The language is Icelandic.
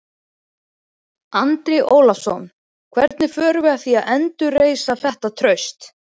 Andri Ólafsson: Hvernig förum við að því að endurreisa þetta traust?